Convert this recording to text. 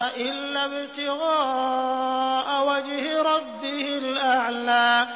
إِلَّا ابْتِغَاءَ وَجْهِ رَبِّهِ الْأَعْلَىٰ